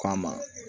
K'a ma